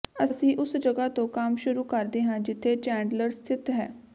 ਅਸੀਂ ਉਸ ਜਗ੍ਹਾ ਤੋਂ ਕੰਮ ਸ਼ੁਰੂ ਕਰਦੇ ਹਾਂ ਜਿੱਥੇ ਚੈਂਡਲਰ ਸਥਿਤ ਹੈ